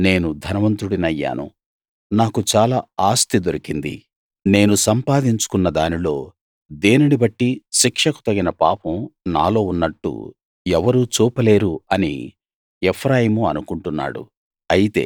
నేను ధనవంతుడినయ్యాను నాకు చాలా ఆస్తి దొరికింది నేను సంపాదించుకున్న దానిలో దేనిని బట్టీ శిక్షకు తగిన పాపం నాలో ఉన్నట్టు ఎవరూ చూపలేరు అని ఎఫ్రాయిము అనుకుంటున్నాడు